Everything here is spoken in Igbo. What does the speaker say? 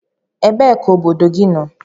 Ebee ka obodo gị nọ?